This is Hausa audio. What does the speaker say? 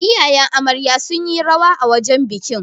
iyayen Amarya sun yi rawa a wajen bikin